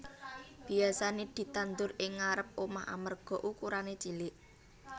Biyasané ditandur ing ngarêp omah amarga ukurané cilik